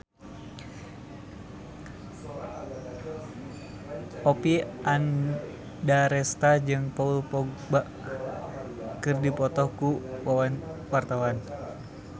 Oppie Andaresta jeung Paul Dogba keur dipoto ku wartawan